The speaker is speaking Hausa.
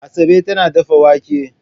Asabe tana dafa wake.